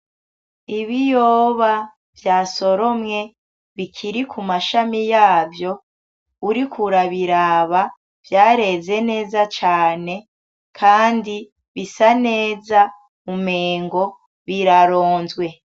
Ibiyoba vyasoromwe bikiri ku mashami yavyo, uriko urabiraba vyaheze neza cane, kandi bisa neza umengo biraronzwe.